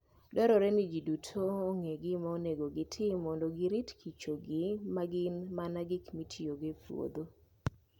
Dwarore ni ji duto ong'e gima onego gitim mondo giritkichogi ma gin mana gik mitiyogo e puodho.